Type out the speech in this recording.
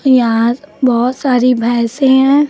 यहां बहोत सारी भैंसे हैं।